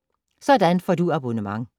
Sådan får du abonnement